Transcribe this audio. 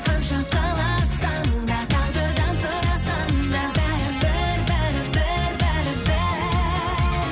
қанша қаласаң да тағдырдан сұрасаң да бәрібір бәрібір бәрібір